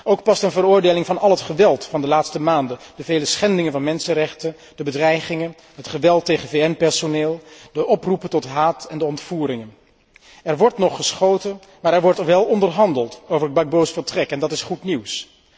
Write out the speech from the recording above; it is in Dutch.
Ook past een veroordeling van al het geweld van de laatste maanden, de vele schendingen van mensenrechten, de bedreigingen, het geweld tegen VN personeel, de oproepen tot haat en de ontvoeringen. Er wordt nog geschoten, maar er wordt wel onderhandeld over Gbagbo's vertrek, en dat is goed nieuws.